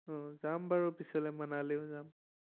যাম বাৰু পিছলে মানালিও যাম